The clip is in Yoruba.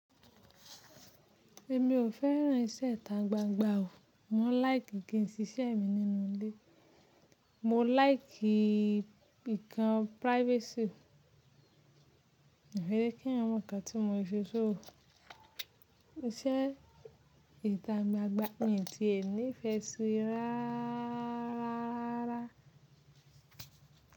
Èmi ò fẹ́ràn iṣẹ́ ìta gbángbán o. Mọ láìkì kí n ṣiṣẹ́ mi nínú ilé. Mọ láìkì ìkàn privacy, mò fè jè kí èyàń mọ ǹkan tí mo ṣè sóo, iṣẹ́ ìta gbàngbàn mi tiè ní ìfẹ́ síi rárá.